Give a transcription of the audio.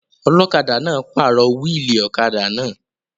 Ọlọ́kadà náà pàrọ̀ wíìlì ọ̀kadà náà